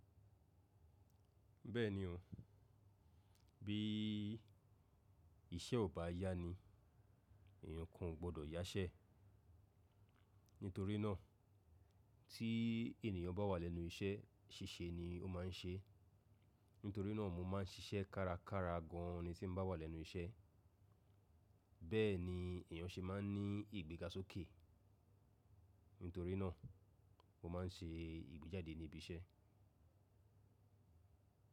Bẹ́ẹ̀ni o, bí iṣẹ́ ò bá yá ni, èèyàn kan ò gbọdọ̀ yáṣẹ́. Nítorí náà tí ènìyàn bá wà lẹ́nu iṣẹ́ ṣíṣe ni ó máa ń ṣe. Nítorí náà mo máa ń ṣiṣẹ́ kárakára gan an ni tí n bá wà lẹ́nu iṣẹ́. Bẹ́ẹ̀ ni èèyàn ṣe máa ń ní ìgbéga sókè. Nítorí náà mo máa ń ṣe ìgbéjáde ní ibi iṣẹ́.